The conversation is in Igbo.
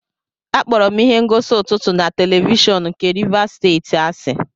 Akpọrọ m ihe ngosi ụtụtụ na televishọn nke Rivers Steeti asị.